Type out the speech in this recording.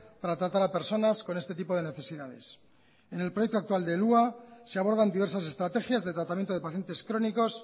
para tratar a personas con este tipo de necesidades en el proyecto actual del hua se abordan diversas estrategias de tratamiento de pacientes crónicos